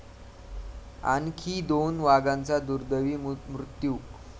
आणखी दोन वाघांचा दुर्दैवी मृत्यू